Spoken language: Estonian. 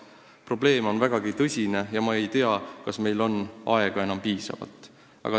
Probleem on vägagi tõsine ja ma ei tea, kas meil on enam piisavalt aega.